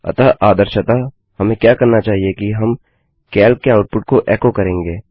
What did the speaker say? अतः आदर्शतः हमें क्या करना चाहिए कि हम कैल्क के आउटपुट को एको करेंगे